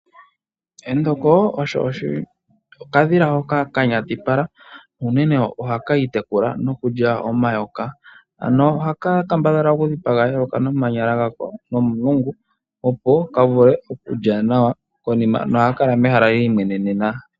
Endoko olyo okadhila hoka ka nyatipala, na unene oha ki itekula noku lya omayoka. Ano oha ka kambadhala oku dhipaga eyoka nomanyala ga ko nomulungu , opo ka vule oku lya nawa, noha ka kala mehala li imwenenena.